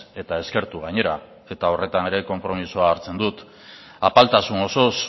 eta eskertu gainera eta horretan ere konpromisoa hartzen dut apaltasun osoz